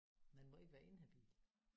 Man må ikke være inhabil